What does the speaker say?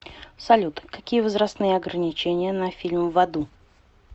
салют какие возрастные ограничения на фильм в аду